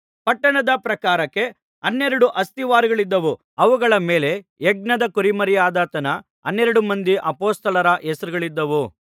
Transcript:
ಪಟ್ಟಣದ ಪ್ರಾಕಾರಕ್ಕೆ ಹನ್ನೆರಡು ಅಸ್ತಿವಾರಗಳಿದ್ದವು ಅವುಗಳ ಮೇಲೆ ಯಜ್ಞದ ಕುರಿಮರಿಯಾದಾತನ ಹನ್ನೆರಡು ಮಂದಿ ಅಪೊಸ್ತಲರ ಹೆಸರುಗಳಿದ್ದವು